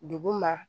Dugu ma